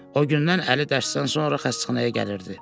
O gündən Əli dərsdən sonra xəstəxanaya gəlirdi.